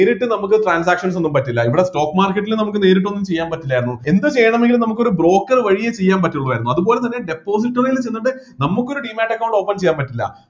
നേരിട്ട് നമുക്ക് transactions ഒന്നും പറ്റില്ല ഇവിടെ stock market ൽ നമുക്ക് നേരിട്ട് ഒന്നും ചെയ്യാൻ പറ്റില്ലായിരുന്നു എന്ത് ചെയ്യണമെങ്കിലും നമുക്ക് ഒരു broker വഴിയെ ചെയ്യാൻ പറ്റുള്ളു ആയിരുന്നു അതുപോലെ തന്നെ depository ൽ ചെന്നിട്ട് നമുക്ക് ഒരു demate account open ചെയ്യാൻ പറ്റില്ല